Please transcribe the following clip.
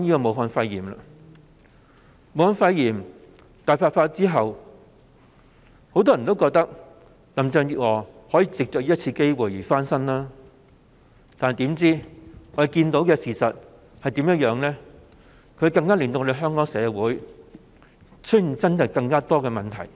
武漢肺炎大爆發後，很多人以為林鄭月娥可藉此機會翻身，但事實卻剛好相反，她反而令香港社會出現更多問題。